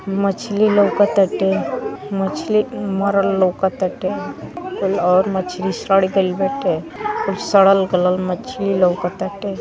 मछली लउकताटे मछली मरल लउकताटे और मछली सड़ गईल बाटे और सड़ल गड़ल मछली लउकताटे।